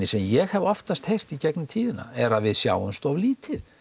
sem ég hef oftast heyrt í gegnum tíðina er að við sjáumst of lítið